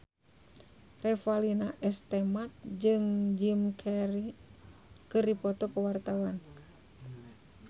Revalina S. Temat jeung Jim Carey keur dipoto ku wartawan